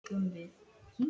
Kár, áttu tyggjó?